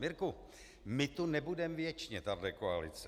Mirku, my tu nebudeme věčně, tato koalice.